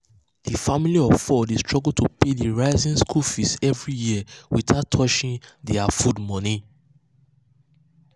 the family of four dey struggle to pay the rising school fees every year without touching their food money.